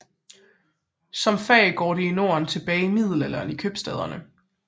Som fag går det i Norden tilbage til middelalderen i købstæderne